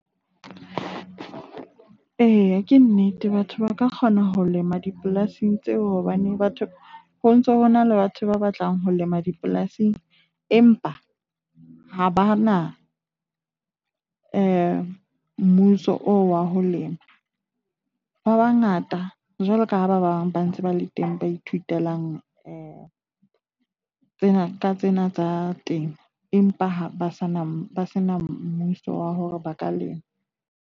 Eya, ke nnete. Batho ba ka kgona ho lema dipolasing tseo, hobane batho ho ntso ho na le batho ba batlang ho lema dipolasing. Empa ha ba na mmuso oo wa ho lema. Ba bangata jwalo ka ha ba bang ba ntse ba le teng, ba ithutelang tsena ka tsena tsa temo empa ha ba sa na sena mmuso wa hore ba ka lema.